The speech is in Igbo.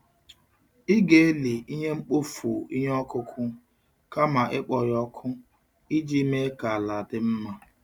Ị ga-eli ihe mkpofu ihe ọkụkụ kama ịkpọ ya ọkụ iji mee ka ala dị mma.